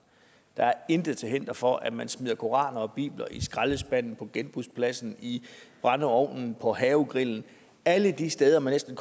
der er intet til hinder for at man smider koraner og bibler i skraldespanden på genbrugspladsen i brændeovnen på havegrillen alle de steder man næsten